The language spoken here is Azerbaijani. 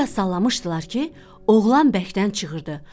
Bir az sallamışdılar ki, oğlan bərkdən çığırdı.